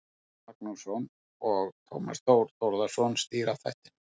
Elvar Geir Magnússon og Tómas Þór Þórðarson stýra þættinum.